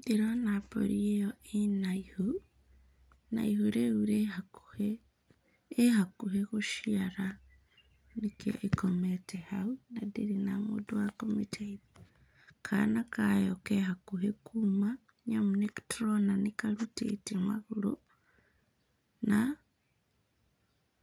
Ndĩrona mbũri ĩo ĩna ihu, na ihu rĩu rĩ hakuhĩ, ĩ hakuhĩ gũciara, nĩkĩo ĩkomete hau, na ndĩrĩ na mũndũ wa kũmĩteithia. Kana kayo ke hakuhĩ kuuma, nĩamu nĩtũrona nĩkarutĩte magũrũ na